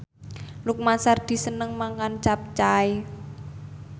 Lukman Sardi seneng mangan capcay